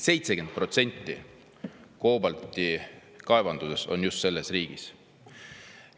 70% koobaltikaevandustest on just selles riigis.